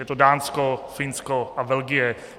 Je to Dánsko, Finsko a Belgie.